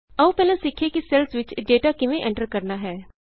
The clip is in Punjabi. ਆਉ ਪਹਿਲਾਂ ਸਿਖੀਏ ਕਿ ਸੈੱਲਸ ਵਿਚ ਡਾਟਾ ਕਿਵੇਂ ਐਂਟਰ ਕਰਨਾ ਹੈ